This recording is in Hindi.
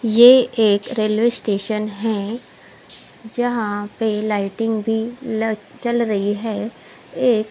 ये एक रेलवे स्टेशन है जहा पे लाइटिंग भी लग चल रही है एक--